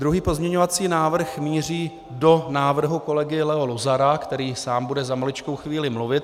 Druhý pozměňovací návrh míří do návrhu kolegy Leo Luzara, který sám bude za maličkou chvíli mluvit.